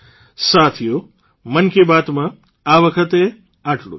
સાથીઓ મન કી બાતમાં આ વખતે આટલું જ